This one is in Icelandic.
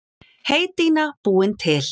Heydýna búin til.